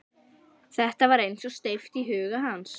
Þetta var eins og steypt í huga hans.